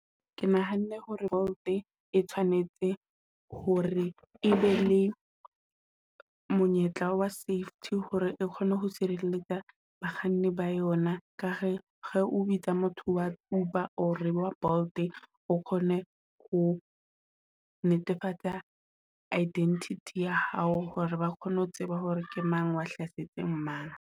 Ke nahanne hore Bolt e tshwanetse hore e be le monyetla wa safety hore re kgone ho sireletsa bakganni ba yona. Ka he he o bitsa motho wa Uber or wa Bolt o kgone ho netefatsa identity ya hao hore ba kgone ho tseba hore ke mang a hlasetseng mang.